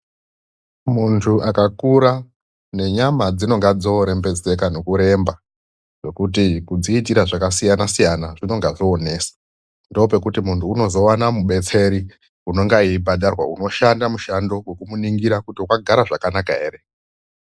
Muntu akakura nenyama dzinonga dzorembedzeka ngekuremba , nekuti kudziitira zvakasiyana -siyana zvinonga zvonesa .Ndipo pekuti munhu anozowana mudetseri unenge eibhadharwa unoshanda mushandi wekuti munhu akagara zvakanaka here .